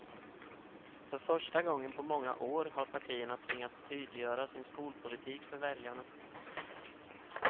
För första gången på många år har partierna tvingats tydliggöra sin skolpolitik för väljarna.